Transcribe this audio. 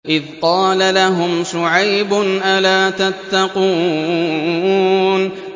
إِذْ قَالَ لَهُمْ شُعَيْبٌ أَلَا تَتَّقُونَ